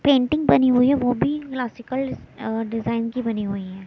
Painting बनी हुई है वो भी क्लासिकल अह डिजाइन की बनी हुई है।